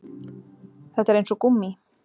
Þetta er eins og gúmmí